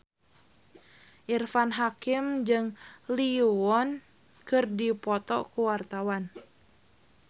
Irfan Hakim jeung Lee Yo Won keur dipoto ku wartawan